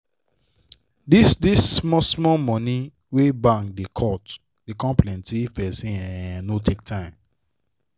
dis dis small small money wey bank da cut da come plenty if person um no take time